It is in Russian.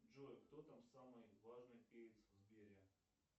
джой кто там самый важный перец в сбере